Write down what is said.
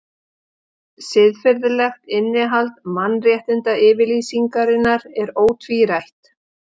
Siðferðilegt innihald Mannréttindayfirlýsingarinnar er ótvírætt.